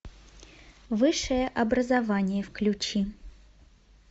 высшее образование включи